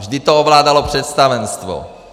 Vždy to ovládalo představenstvo.